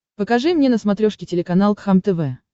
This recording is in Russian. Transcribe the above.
покажи мне на смотрешке телеканал кхлм тв